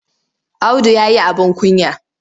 Audu ya yi abin kunya.